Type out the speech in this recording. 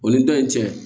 O ni dɔ in cɛ